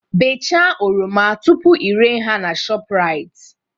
Bechaa oroma tupu ị re ha na Shoprite